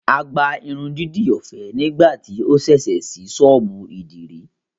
À gbà ìrundidi ọfẹ nigbati ó ṣẹṣẹ ṣìí sọ́ọ̀bù idiri